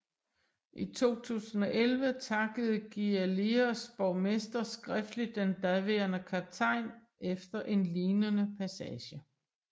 I 2011 takkede Giglios borgmester skriftlig den daværende kaptajn efter en lignende passage